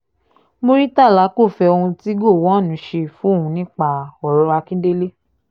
muritàlá kò fẹ́ ohun tí gowon ṣe fóun nípa ọ̀rọ̀ akíndélé